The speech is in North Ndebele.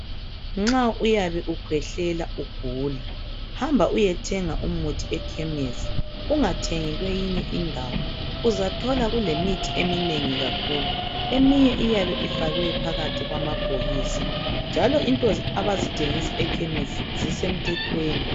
Nxa uyabe ukhwehlela ugula hamba uyethenga umuthi ekhemisi ungathengi kweyinye indawo uzathola kulemithi eminengi kakhulu eminye iyabe ifakwe phakathi kwamabhokisi njalo izinto abazithengisa ekhemisi zisemthethweni.